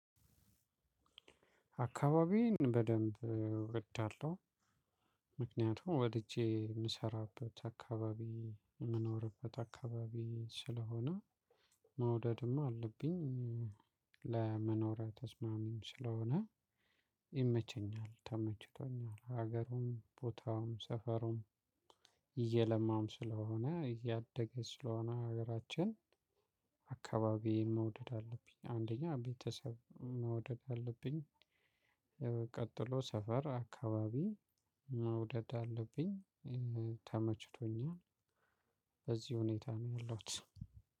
አካባቢዬን በደንብ እወዳለሁ። ምክንያቱም ወድጄ የምሰራበት አካባቢ የምኖርበት አካባቢ ስለሆነ መውደድማ አለብኝ። ለመኖር ተስማሚም ስለሆነ ይመቸኛል። ተመችቶኛል ሀገሩም ቦታውም ሰፈሩም እየለማም ስለሆነ እያደገ ስለሆነ ሀገራችን። አካባቢን መውደድ አለብኝ አንደኛ ቤተሰብ መውደድ አለብኝ። ቀጥሎ ሰፈር አካባቢ መውደድ አለብኝ። ተመችቶኛል። በዚህ ሁኔታ ነው ያለሁት።